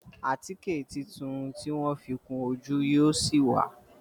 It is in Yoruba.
Àtíkè títún tí wón fi kún ojú yíò sí wá